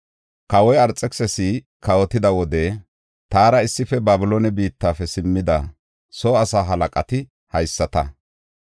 Kawoy Arxekisisi kawotida wode taara issife Babiloone biittafe simmida soo asaa halaqati haysata;